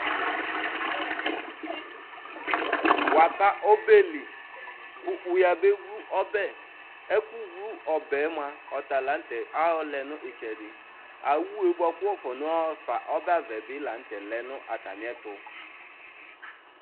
waba ɔbɛli kʋ wʋ yaba wlʋ ɔbɛ, ɛkʋ wlʋ ɔbɛ mʋa ɔta lantɛ, ayɔ lɛnʋ itsɛdi, awʋɛ bʋakʋ waƒɔna haƒa ɔbɛ bilantɛ lɛnʋ atami ɛtʋ